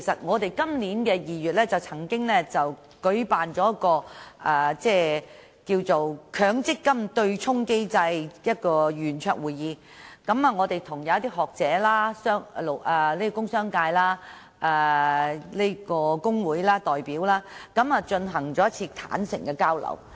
在今年2月，民建聯舉辦了"'強積金對沖機制齊齊傾'圓桌會議"，邀請學者、工商界及工會代表進行坦誠交流。